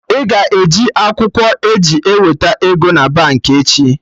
Ị ga-eji akwụkwọ e ji eweta ego na Baankị echi